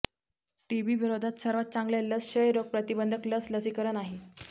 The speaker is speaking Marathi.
टीबी विरोधात सर्वात चांगल्या लस क्षयरोग प्रतिबंधक लस लसीकरण आहे